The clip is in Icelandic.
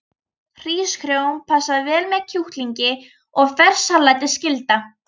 Hrísgrjón passa vel með kjúklingi og ferskt salat er skylda.